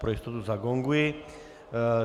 Pro jistotu zagonguji.